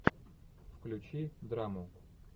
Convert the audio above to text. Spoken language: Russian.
включи драму